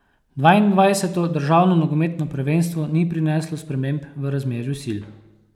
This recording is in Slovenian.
Dvaindvajseto državno nogometno prvenstvo ni prineslo sprememb v razmerju sil.